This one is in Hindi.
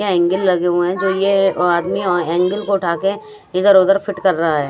बहेंगे लगे हुए है आदमी हेंगर को उठाके इधर उधर फिट कर रहा हे।